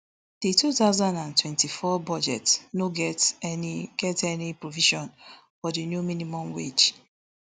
di two thousand and twenty-four budget no get any get any provision for di new minimum wage